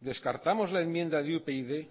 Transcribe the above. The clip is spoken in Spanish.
descartamos la enmienda de upyd